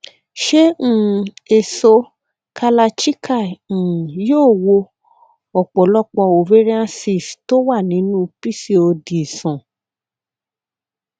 ṣé um èso kalarchikai um yóò wo ọpọlọpọ ovarian cysts tó wà nínú pcod sàn